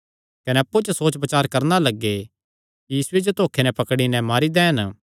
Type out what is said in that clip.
कने अप्पु च सोचबचार करणा लग्गे कि यीशुये जो धोखे नैं पकड़ी नैं मारी दैन